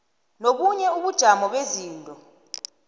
nobunye ubujamo bezinto